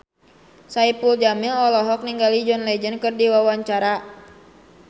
Saipul Jamil olohok ningali John Legend keur diwawancara